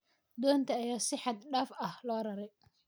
Doontii ayaa si xad dhaaf ah loo raray.